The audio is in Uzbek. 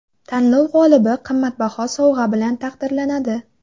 Tanlov g‘olibi qimmatbaho sovg‘a bilan taqdirlanadi.